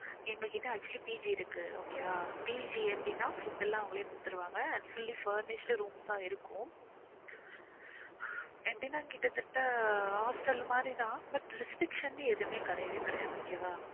எங்க கிட்ட actually PG இருக்கு okay வா PG அப்டினா food எல்லாமே குடுத்திருவாங்க fully furnished room ஆஹ் இருக்கும் எப்டினா கிட்டத்தட் hostel மாறி தான் butrestriction னு எதுவுமே கெடயவே கெடையாது okay வா